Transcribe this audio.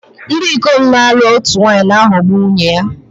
Ndị ikom na-alụ otu nwaanyị na-aghọgbu nwunye ha